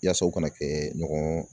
Yasa u kana kɛ ɲɔgɔn